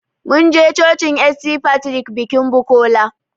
Mun je cocin St.Patrick bikin Bukola